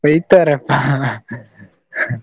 ಬೈತಾರೆ .